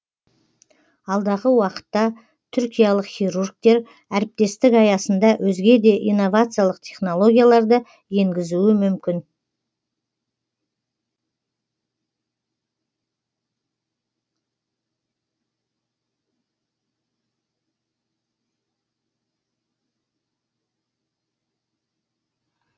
алдағы уақытта түркиялық хирургтер әріптестік аясында өзге де инновациялық технологияларды енгізуі мүмкін